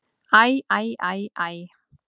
Æ, æ, æ, æ!